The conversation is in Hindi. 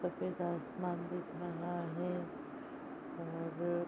सफ़ेद आसमान दिख रहा है और --